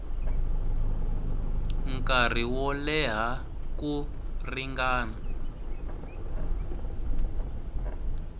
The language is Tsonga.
nkarhi wo leha ku ringana